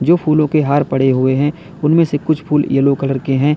फूलों के हार पड़े हुए हैं उनमें से कुछ फूल येलो कलर के हैं।